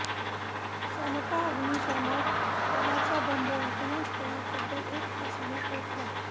सनपा अग्निशमन दलाचा बंब घटनास्थळी तब्बल एक तासाने पोहोचला